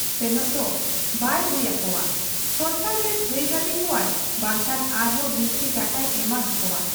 ᱥᱮᱱᱚᱜ ᱫᱚ ᱵᱟᱭ ᱦᱩᱭ ᱟᱠᱚᱣᱟ ᱥᱚᱨᱠᱟᱨᱜᱮ ᱛᱷᱟᱺᱭᱜᱟᱹᱫᱤ ᱠᱚᱣᱟᱭ ᱵᱟᱝᱠᱷᱟᱱ ᱟᱨᱦᱚᱸ ᱵᱤᱥᱛᱤ ᱴᱟᱠᱟᱭ ᱮᱢᱟ ᱦᱟᱠᱚᱣᱟ ᱾